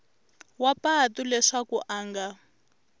wa patu leswaku a nga